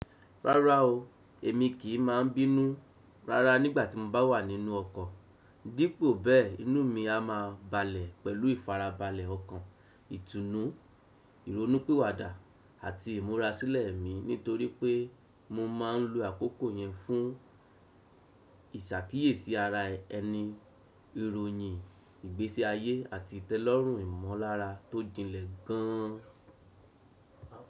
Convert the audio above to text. Rárá o, èmi kì í máa bínú rárá nígbà tí mo bá wà nínú ọkọ̀, dípò bẹ́ẹ̀ inú mi a máa balẹ̀ pẹ̀lú ìfarabalẹ̀ ọkàn, ìtùnú, ìrònúpìwàdà àti ìmúrasílẹ̀ mi nítorí pé mo máa ń lo àkókò yẹn fún ìṣàkíyèsí ara ẹni, ìròyìn, ìgbésí ayé àti ìtẹ́lọ́rùn ìmọ̀lára tó jinlẹ̀ gan an.